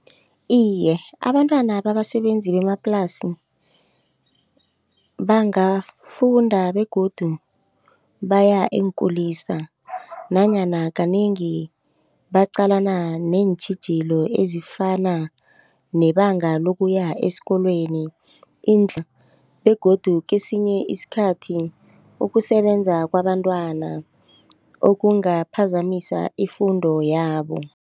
Iye, abantwana babasebenzi bemaplasini bangafunda begodu baya eenkulisa nanyana kanengi baqalana neentjhijilo ezifana nebanga lokuya esikolweni begodu kesinye isikhathi ukusebenza kwabentwana okungaphazamisa ifundo yabo.